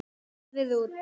Finnur horfði út.